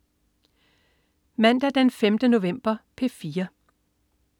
Mandag den 5. november - P4: